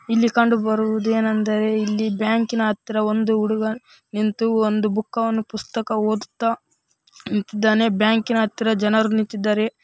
ಇಲ್ಲಿ ಕಂಡುಬರುವುದು ಏನೆಂದರೆ ಇಲ್ಲಿ ಬ್ಯಾಂಕಿನ ಹತ್ತಿರ ಒಂದು ಹುಡುಗ ನಿಂತು ಒಂದು ಬುಕ್‌ವನ್ನು ಪುಸ್ತಕವನ್ನು ಓದುತ್ತಾ ನಿಂತಿದ್ದಾನೆ ಬ್ಯಾಂಕಿನ ಹತ್ತಿರ ಜನರು ನಿಂತಿದ್ದಾರೆ.